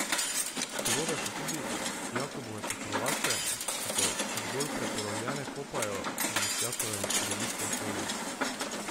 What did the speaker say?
Surove so tudi jakobove pokrovače, ki se zgolj prepolovljene kopajo v Lisjakovem deviškem olju.